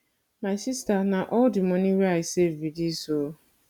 my sister na all the money wey i save be dis oo